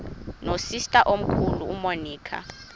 nosister omkhulu umonica